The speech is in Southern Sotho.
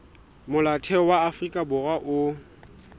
molaotheo wa afrika borwa o